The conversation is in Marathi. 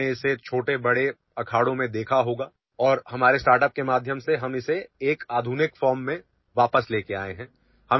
तुम्ही लहानमोठ्या आखाड्यांमध्ये तुम्ही हा प्रकार पहिला असेल आणि आमच्या स्टार्ट अपच्या माध्यमातून आम्ही या प्रकाराला आधुनिक स्वरुपात पुन्हा घेऊन आलो आहोत